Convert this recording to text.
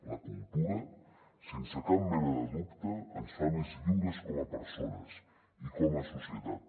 la cultura sense cap mena de dubte ens fa més lliures com a persones i com a societat